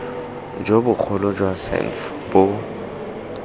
jo bogolo jwa sandf bo